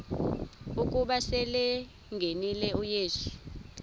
ukuba selengenile uyesu